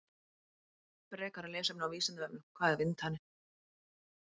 Frekara lesefni á Vísindavefnum: Hvað er vindhani?